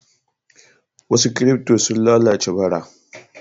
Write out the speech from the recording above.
Wasu kirifto sun lalace bara.